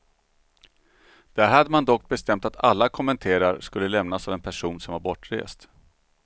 Där hade man dock bestämt att alla kommenterar skulle lämnas av en person som var bortrest.